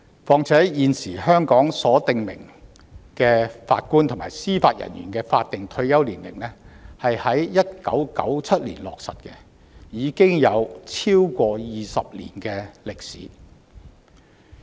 況且，現時香港所訂明的法官及司法人員法定退休年齡是在1997年落實，已有超過20年歷史。